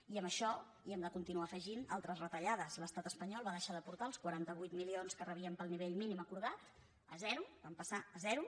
i a això hi hem de continuar afegint altres retallades l’estat espanyol va deixar d’aportar els quaranta vuit milions que rebíem pel nivell mínim acordat a zero vam passar a zero